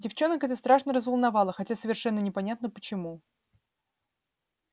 девчонок это страшно разволновало хотя совершенно непонятно почему